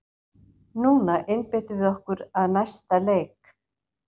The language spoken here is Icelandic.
Núna einbeitum við okkur að næsta leik!